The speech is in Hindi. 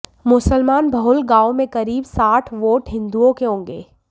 मुसलमान बहुल गांव में करीब साठ वोट हिंदुओं के होंगे